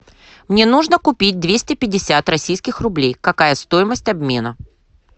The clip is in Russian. мне нужно купить двести пятьдесят российских рублей какая стоимость обмена